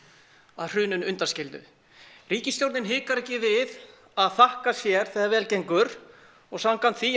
að hruninu undanskildu ríkisstjórnin hikar ekki við að þakka sér þegar vel gengur og samkvæmt því